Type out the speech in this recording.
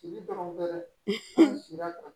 Si dɔrɔn bɛɛ sera